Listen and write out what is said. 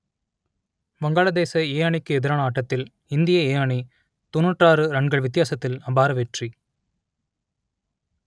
வங்காளதேச ஏ அணிக்கு எதிரான ஆட்டத்தில் இந்திய ஏ அணி தொன்னூற்று ஆறு ரன்கள் வித்தியாசத்தில் அபார வெற்றி